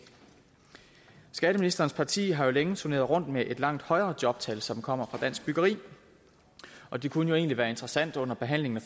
skatteministerens parti har jo længe turneret rundt med et langt højere jobtal som kommer fra dansk byggeri og det kunne egentlig være interessant under behandlingen af